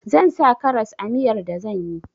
Zan sa karas a miyar da zan yi